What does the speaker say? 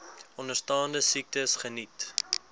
onderstaande siektes geniet